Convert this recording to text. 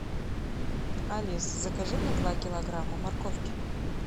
алиса закажи мне два килограмма морковки